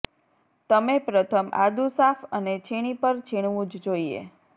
તમે પ્રથમ આદુ સાફ અને છીણી પર છીણવું જ જોઈએ